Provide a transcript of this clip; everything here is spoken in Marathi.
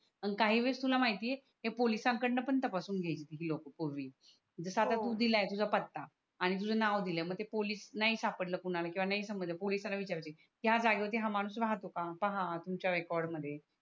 काही वेळेस तुला माहिती आहे हे पोलिस कडन पण तपासून घ्यायचे हे लोक पूर्वी जस हो आता तु दिल आहे तुझा पत्ता आणि तुझ नाव दिल आहे मग ते पोलिस नाही सापडल कोणाला किवा नाही समजल पोलिसला विचारचे हाय जागेवर हा माणूस राहत होता पाहा तुमच्या रेकॉर्ड मध्ये